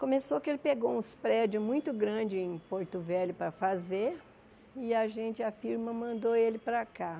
Começou que ele pegou uns prédios muito grandes em Porto Velho para fazer e a gente, a firma, mandou ele para cá.